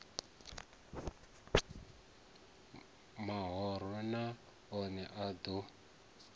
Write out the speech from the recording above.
mahoro na one a ḓo